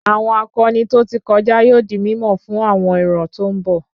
Àwọn akọni to ti kọjá yóò di mímọ̀ fún àwọn ìran tó n bọ